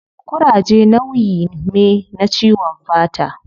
Kuraje nauyi me na ciwon fata